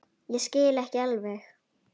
Ég skil ekki alveg